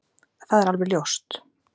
Það er alveg ljóst